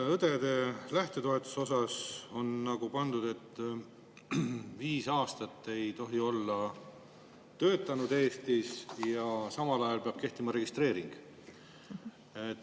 Õdede lähtetoetuse puhul on pandud, et viis aastat ei tohi olla töötanud Eestis ja samal ajal peab kehtima registreering.